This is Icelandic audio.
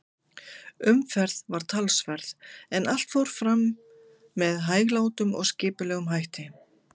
Umferð var talsverð, en allt fór fram með hæglátum og skipulegum hætti.